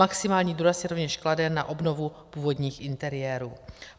Maximální důraz se rovněž klade na obnovu původních interiérů.